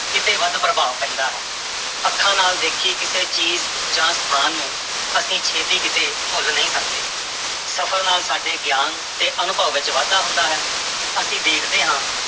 ਕਿਤੇ ਵੱਧ ਪ੍ਰਭਾਵ ਪੈਂਦਾ ਹੈ ਅੱਖਾਂ ਨਾਲ ਦੇਖੀ ਕਿਸੇ ਚੀਜ਼ ਜਾਂ ਸਥਾਨ ਨੂੰ ਅਸੀਂ ਛੇਤੀ ਕਿਤੇ ਭੁੱਲ ਨਹੀਂ ਸਕਦੇ, ਸਫ਼ਰ ਨਾਲ ਸਾਡੇ ਗਿਆਨ ਤੇ ਅਨੁਭਵ ਵਿੱਚ ਵਾਧਾ ਹੁੰਦਾ ਹੈ ਅਸੀਂ ਦੇਖਦੇ ਹਾਂ